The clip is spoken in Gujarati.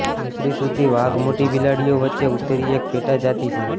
યુસુરીસુધી વાઘ મોટી બિલાડીઓ વચ્ચે ઉત્તરીય એક પેટાજાતિ છે